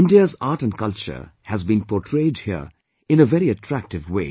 India's art & culture has been portrayed here in a very attractive way